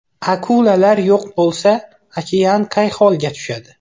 Akulalar yo‘q bo‘lsa, okean qay holga tushadi?.